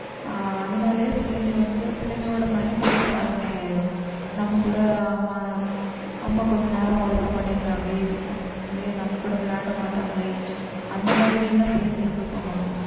ஆஹ் அதனாலயே பிள்ளைங்க வந்து பிள்ளைங்களோட mind வந்து வேற மாதிரி ஆயிடும் நம்ம கூட அம்மா அம்மா கொஞ்ச நேரம் ஒதுக்க மாட்டேங்குறாங்க ~ங்களே நம்ம கூட விளையாட மாட்டாங்களே அந்த மாதிரி எல்லாம் பிள்ளைங்களுக்கு தோணும்